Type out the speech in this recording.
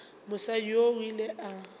mosadi yoo o ile a